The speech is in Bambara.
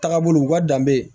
Taga bolo u ka danbe